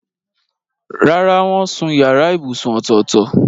Rárá, wọ́n sun yàrá ibùsùn ọ̀tọ̀ọ̀tọ̀.